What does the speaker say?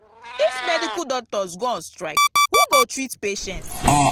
if medical doctors go on strike who go treat patients